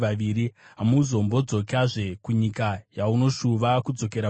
Hamuzombodzokizve kunyika yamunoshuva kudzokera kwairi.”